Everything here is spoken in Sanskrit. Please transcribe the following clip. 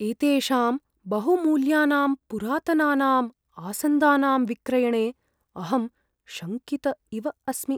एतेषां बहुमूल्यानां पुरातनानां आसन्दानां विक्रयणे अहं शङ्कित इव अस्मि।